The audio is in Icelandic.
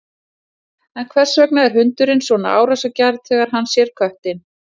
en hvers vegna er hundurinn svona árásargjarn þegar hann sér köttinn